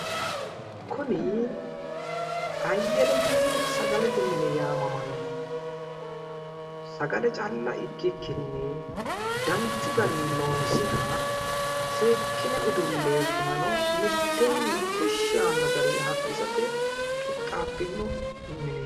kuni ayyelechi sagalete mine yaamamanno sagale calla ikkikinni danchu garinni loonsoonniha seekkine udulloonni bunano mitteenni kushshi yaanno garinni hayiikkisate qixxaabbino mineeti.